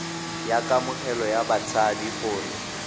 ya kamogelo ya batshabi gore